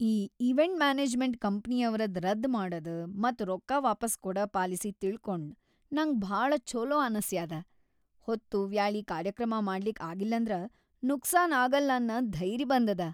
ಈ event management ಕಂಪ್ನಿಯವ್ರದ್‌ ರದ್ದ್‌ ಮಾಡದು ಮತ್‌ ರೊಕ್ಕಾ ವಾಪಾಸ್‌ ಕೊಡ ಪಾಲಿಸಿ ತಿಳ್ಕೊಂಡ್‌ ನಂಗ ಭಾಳ ಛೊಲೋ ಅನಸ್ಯಾದ, ಹೊತ್ತುವ್ಯಾಳಿ ಕಾರ್ಯಕ್ರಮ ಮಾಡ್ಲಿಕ್‌ ಆಗಿಲ್ಲಂದ್ರ ನುಕ್ಸಾನ್‌ ಆಗಲ್ಲನ್ನ ಧೈರ್ಯ್‌ ಬಂದದ.